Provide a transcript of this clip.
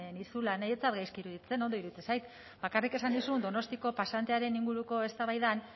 nizula niri ez zait gaizki iruditzen ondo iruditzen zait bakarrik esan nizun donostiako pasantearen inguruko eztabaidan